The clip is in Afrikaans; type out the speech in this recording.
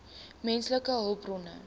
menslike hulpbronne